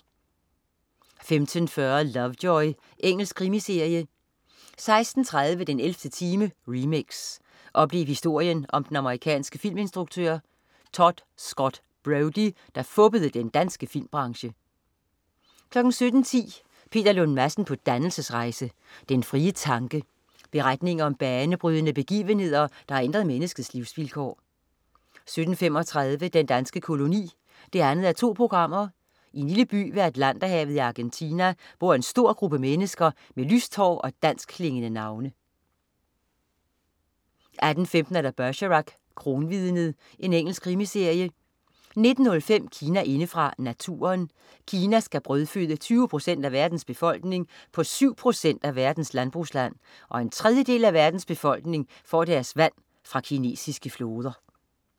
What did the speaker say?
15.40 Lovejoy. Engelsk krimiserie 16.30 den 11. time, remix. Oplev historien om den amerikanske filminstruktør Tod Scott Brody, der fuppede den danske filmbranche 17.10 Peter Lund Madsen på dannelsesrejse. Den frie tanke. Beretninger om banebrydende begivenheder, der har ændret menneskets livsvilkår 17.35 Den danske koloni 2:2. I en lille by ved Atlanterhavet i Argentina bor en stor gruppe mennesker med lyst hår og danskklingende navne 18.15 Bergerac: Kronvidnet. Engelsk krimiserie 19.05 Kina indefra: Naturen. Kina skal brødføde 20 procent af verdens befolkning på syv procent af verdens landbrugsland, og en tredjedel af verdens befolkning får deres vand fra kinesiske floder